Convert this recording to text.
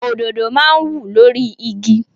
Òdòdó máa ń wù lórí igi.